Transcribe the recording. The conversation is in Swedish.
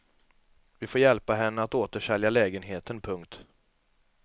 Vi får hjälpa henne att återsälja lägenheten. punkt